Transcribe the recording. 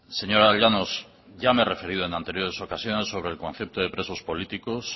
señora llanos ya me he referido en anteriores ocasiones sobre el concepto de presos políticos